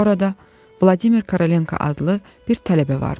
Orada Vladimir Korolenko adlı bir tələbə vardı.